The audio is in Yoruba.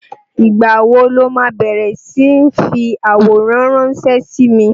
Ìgbà wo lo ma bẹ̀rẹ̀ sí ń fi àwòrán ránsẹ́ sí mi?